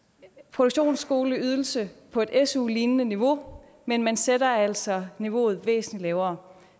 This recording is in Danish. produktionsskoleydelse på et su lignende niveau men man sætter altså niveauet væsentligt lavere